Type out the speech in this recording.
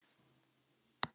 Þeirra börn eru fjögur.